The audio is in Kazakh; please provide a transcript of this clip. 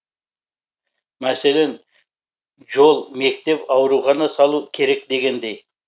мәселен жол мектеп аурухана салу керек дегендей